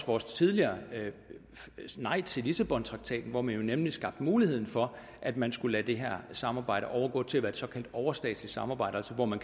vores tidligere nej til lissabontraktaten hvor man jo nemlig skabte muligheden for at man skulle lade det har samarbejde overgå til at være et såkaldt overstatsligt samarbejde hvor man